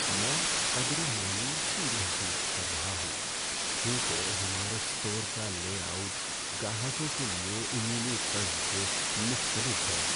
میں قدرے مایوسی محسوس کر رہا ہوں کیونکہ ہمارے اسٹور کا لے آؤٹ گاہکوں کے لیے عمومی طرز سے مختلف ہے۔